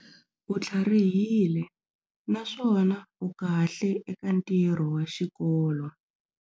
U tlharihile naswona u kahle eka ntirho wa xikolo.